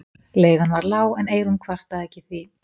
Leigan var ekki lág en Eyrún kvartaði ekki því